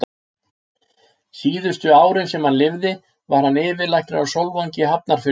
Síðustu árin, sem hann lifði, var hann yfirlæknir á Sólvangi í Hafnarfirði.